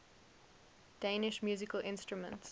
danish musical instruments